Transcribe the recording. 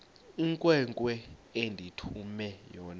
inkwenkwe endithume yona